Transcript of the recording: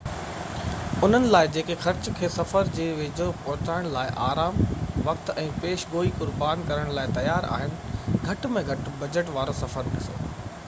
انهن لاءِ جيڪي خرچ کي صفر جي ويجهو پهچائڻ لاءِ آرام وقت ۽ پيش گوئي قربان ڪرڻ لاءِ تيار آهن گهٽ ۾ گهٽ بجٽ وارو سفر ڏسو